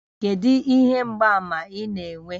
Kedu ihe mgbaàmà ị na-enwe?